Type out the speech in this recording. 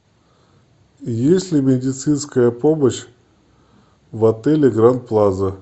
есть ли медицинская помощь в отеле гранд плаза